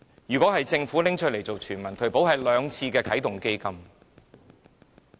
如果給政府用作全民退保，足夠兩次啟動基金。